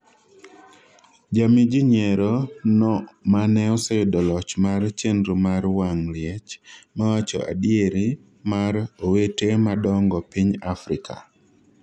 jami jii nyiero no mane oseyudo loch mar chenro mar wang' liech mawacho adieri mar 'Owete madongo piny Afrika'